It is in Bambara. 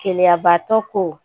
Keleyabatɔ ko